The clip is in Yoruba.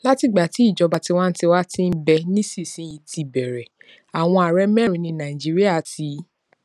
látìgbà tí ìjọba tiwantiwa ti ń bẹ nísinsìnyí ti bẹrẹ àwọn ààrẹ mẹrin ni nàìjíríà ti